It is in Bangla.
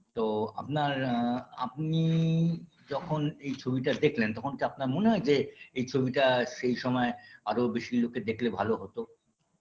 তো আপনার আ আপনি যখন এই ছবি টা দেখলন তখন কি আপনার মনে হয় যে এই ছবিটা সেই সময়ে আরও বেশি লোকে দেখলে ভালো হতো